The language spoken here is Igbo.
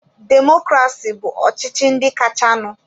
Demokrasi bụ ọchịchị ndị kachanụ.